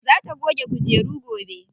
Za ta goge kujeru gobe.